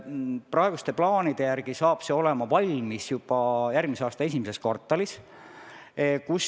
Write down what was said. Praeguste plaanide järgi saab see valmis juba järgmise aasta esimeses kvartalis.